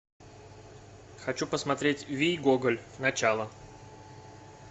хочу посмотреть вий гоголь начало